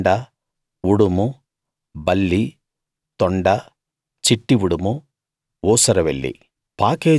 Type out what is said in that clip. తొండ ఉడుము బల్లి తొండ చిట్టి ఉడుము ఊసరవెల్లి